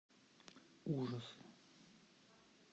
ужасы